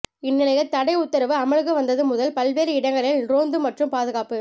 இந்நிலையில் தடை உத்தரவு அமலுக்கு வந்தது முதல் பல்வேறு இடங்களில் ரோந்து மற்றும் பாதுகாப்பு